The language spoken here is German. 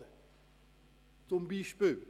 Dies als Beispiel.